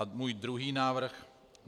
A můj druhý návrh.